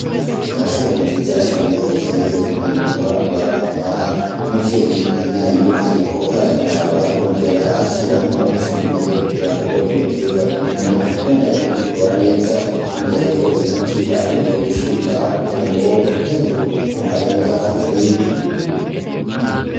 Paracera nziza cane iteye igomwe wohora uraraba, umuvyeyi nyeneyo ariko arayiraba yongere ashiramwo ifumbire kugirango ibiterwa birimwo bibandanye bikura neza, iruhande hariho ibiti bashoboye gushinga kugira ngo ntihagire umuntu arenga akarimbi.